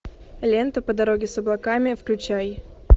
лента по дороге с облаками включай